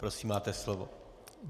Prosím, máte slovo.